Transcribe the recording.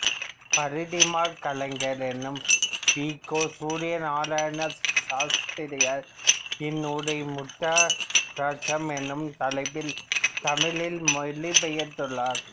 பரிதிமாற் கலைஞர் எனும் வி கோ சூரியநாராயண சாஸ்திரியார் இந்நூலை முத்திராராட்சம் எனும் தலைப்பில் தமிழில் மொழிபெயர்த்துள்ளார்